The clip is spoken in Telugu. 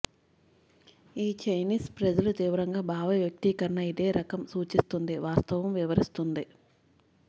ఈ చైనీస్ ప్రజలు తీవ్రంగా భావవ్యక్తీకరణ ఇదే రకం సూచిస్తుంది వాస్తవం వివరిస్తుంది